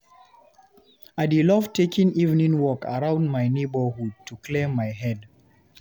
I dey love taking evening walk around my neighborhood to clear my head.